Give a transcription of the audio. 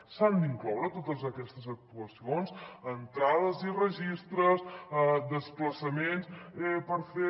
s’han d’incloure totes aquestes actuacions entrades i registres desplaçaments per fer